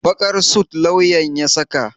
Baƙar sut lauyan ya saka?